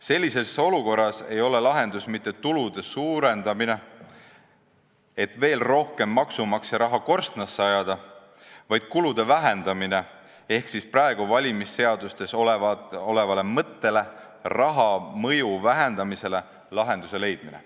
Sellises olukorras ei ole lahendus mitte tulude suurendamine, et veel rohkem maksumaksja raha korstnasse ajada, vaid kulude vähendamine ehk praegu valimisseadustes olevale mõttele raha mõju vähendada lahenduse leidmine.